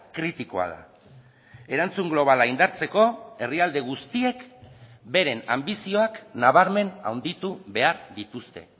kritikoa da erantzun globala indartzeko herrialde guztiek beren anbizioak nabarmen handitu behar dituzte